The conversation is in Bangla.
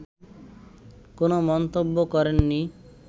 কোনো মন্তব্য করেননি